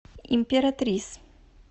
императрис